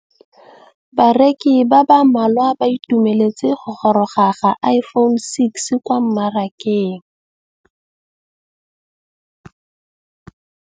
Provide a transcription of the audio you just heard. Bareki ba ba malwa ba ituemeletse go gôrôga ga Iphone6 kwa mmarakeng.